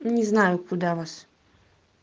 не знаю куда вас